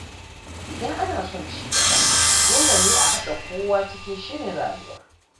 Idan ana son cigaba, dole ne a haɗa kowa cikin shirin rayuwa.